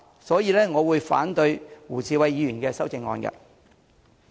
所以，我會反對胡議員的修正案。